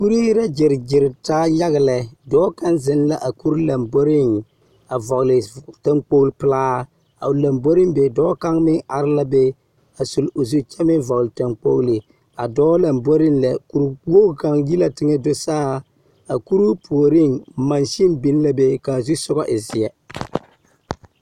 Kuree la gyeregyere taa yaga lɛ. Dɔɔ ka zeŋ la a kuri lamboriŋ a vɔgela zu… taŋkpogili pelaa, dɔɔ kaŋ meŋ are la de a suli zu kyɛ meŋ vɔgele taŋkpogili. A dɔɔ lamboriŋ lɛ kuri wogi kaŋa yi la teŋɛ soga do saa. A kuruu puoriŋ, mansini biŋ la be ka o zu e zeɛ